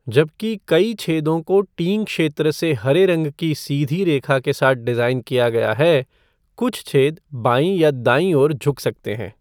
जबकि कई छेदों को टीइंग क्षेत्र से हरे रंग की सीधी रेखा के साथ डिज़ाइन किया गया है, कुछ छेद बाईँ या दाईँ ओर झुक सकते हैं।